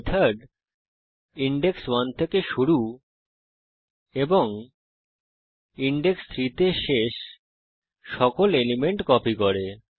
এই method index 1 থেকে শুরু এবং ইনডেক্স 3 তে শেষ সকল এলিমেন্ট কপি করে